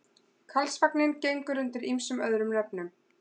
Karlsvagninn gengur undir ýmsum öðrum nöfnum.